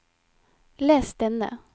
les denne